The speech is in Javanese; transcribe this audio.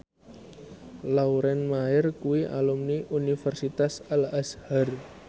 Lauren Maher kuwi alumni Universitas Al Azhar